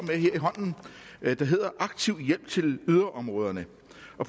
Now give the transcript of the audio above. med der hedder aktiv hjælp til yderområderne